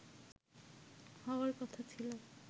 হওয়ার কথা ছিল